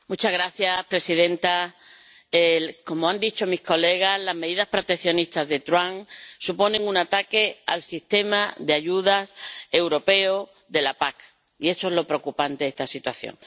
Señora presidenta, como han dicho otros diputados, las medidas proteccionistas de Trump suponen un ataque al sistema de ayudas europeo de la PAC, y esto es lo preocupante de esta situación.